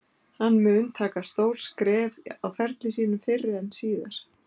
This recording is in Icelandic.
Hann mun taka stórt skref á ferli sínum fyrr en síðar.